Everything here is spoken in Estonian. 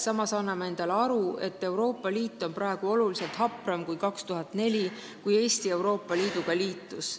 Samas anname endale aru, et Euroopa Liit on praegu oluliselt hapram kui aastal 2004, kui Eesti Euroopa Liiduga liitus.